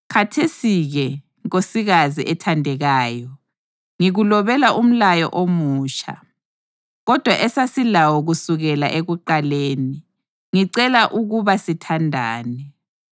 Khathesi-ke, nkosikazi ethandekayo, ngikulobela umlayo omutsha, kodwa esasilawo kusukela ekuqaleni. Ngicela ukuba sithandane.